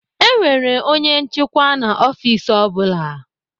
E nwere onye nchịkwa na ọfiks ọ bụla.